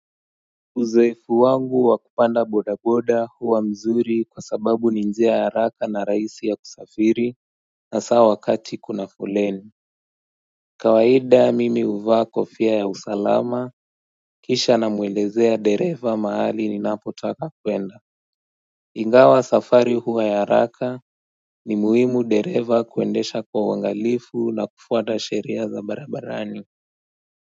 Uzoefu wangu wa kupanda bodaboda huwa mzuri kwa sababu ni njia ya haraka na rahisi ya kusafiri hasa wakati kuna foleni kawaida mimi uvaa kofia ya usalama kisha namuelezea dereva mahali ninapotaka kwenda Ingawa safari huwa ya haraka ni muhimu dereva kuendesha kwa uangalifu na kufuata sheria za barabarani.